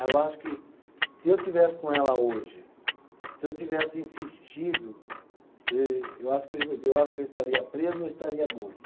Ah eu acho que, se eu estivesse com ela hoje, se eu tivesse insistido, eu eu acho que eu, eu acho que eu estaria preso ou estaria morto.